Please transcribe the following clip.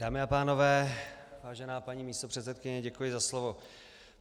Dámy a pánové, vážená paní místopředsedkyně, děkuji za slovo.